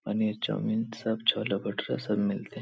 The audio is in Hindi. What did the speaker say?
पनीर चाउमिन सब छोले भठूरे सब मिलते हैं |